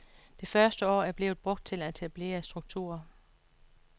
Det første år er blevet brugt til at etablere strukturer.